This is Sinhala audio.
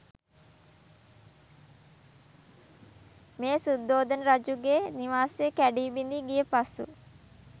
මෙය සුද්ධෝදන රජුගේ නිවාසය කැඩී බිඳීගිය පසු